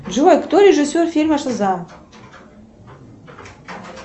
джой кто режиссер фильма шазам